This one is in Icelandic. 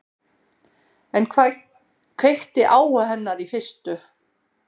En hvað kveikti áhuga hennar í fyrstu?